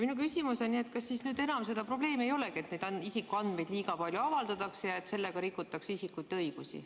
Minu küsimus on, et kas siis nüüd enam seda probleemi ei olegi, et neid isikuandmeid avaldatakse liiga palju ja et sellega rikutakse isikute õigusi.